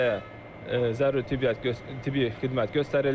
Xəstəyə zəruri tibb tibbi xidmət göstərildi.